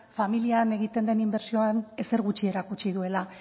familian egiten den inbertsioan ezer gutxi erakutsi duela